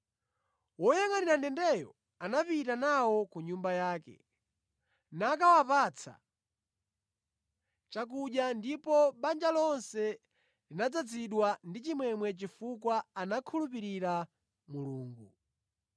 Woyangʼanira ndendeyo anapita nawo ku nyumba yake, nakawapatsa chakudya, ndipo banja lonse linadzazidwa ndi chimwemwe chifukwa anakhulupirira Mulungu.